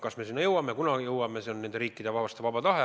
Kas me sinna jõuame – see on nende riikide vaba tahe.